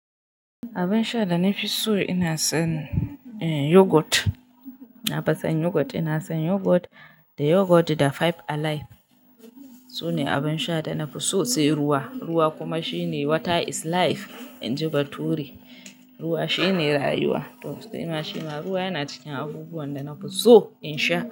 Abin sha da na fi so ina son yogurt. Na fi son yogurt. Ina son yogurt da yogurt da Five Alive. Sune abin sha da na fi so. Sai ruwa. Ruwa kuma shine water is life in ji Bature. Ruwa shine rayuwa. To sai ma shi ma ruwa yana cikin abubuwan da na fi so in sha.